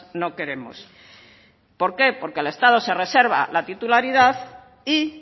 no queremos por qué porque al estado se reserva la titularidad y